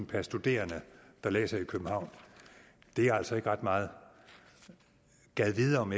per studerende der læser i københavn er altså ikke ret meget gad vide om